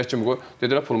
Məsləhətçi kimi qoy.